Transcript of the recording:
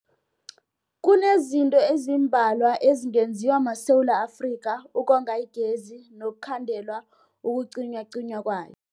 Kunezinto ezimbalwa ezingenziwa maSewula Afrika ukonga igezi nokukhandela ukucinywacinywa kwayo.